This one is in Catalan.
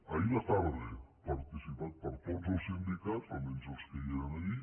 ahir a la tarda participat per tots els sindicats almenys els que hi eren allí